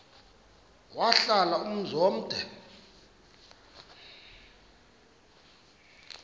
wahlala umzum omde